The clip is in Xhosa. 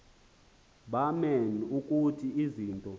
baman ukuthi izinto